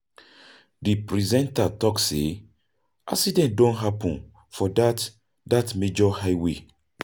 Di presenter talk sey accident don happen for dat major highway.